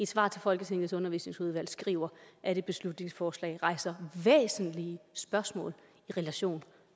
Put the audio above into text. svar til folketingets undervisningsudvalg skriver at et beslutningsforslag rejser væsentlige spørgsmål i relation